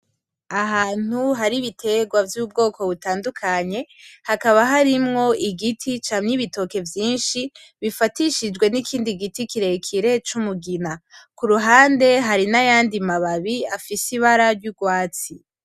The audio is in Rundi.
Ahantu hari ibiterwa vy'ubwoko butandukanye, hakaba harimwo igiti cama ibitoke vyinshi bifatishijwe n'ikindi gite kirekire c'umugina, kuruhande hakaba hari amababi afise ibara ryurwatsi